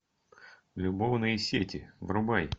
любовные сети врубай